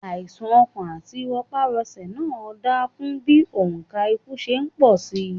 Àìsà̀n ọkàn àti rọparọsẹ̀ náà ń dákún bí òǹkà ikú ṣe ń pọ̀ síi.